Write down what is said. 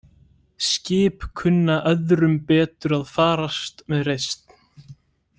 Skip kunna öðrum betur að farast með reisn.